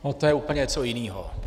No to je úplně něco jiného.